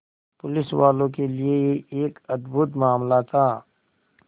पुलिसवालों के लिए यह एक अद्भुत मामला था